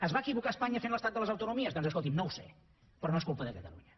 es va equivocar espanya fent l’estat de les autonomies doncs escolti’m no ho sé però no és culpa de catalunya